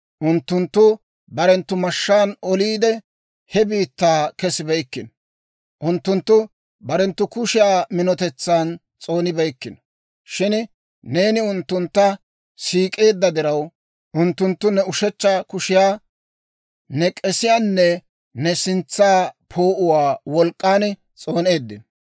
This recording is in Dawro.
Unttunttu barenttu mashshaan oliide, he biittaa kessibeykkino; Unttunttu barenttu kushiyaa minotetsan s'oonibeykkino. Shin neeni unttuntta siik'eedda diraw, unttunttu ne ushechcha kushiyaa, ne k'esiyaanne ne sintsa poo'uwaa wolk'k'an s'ooneeddino.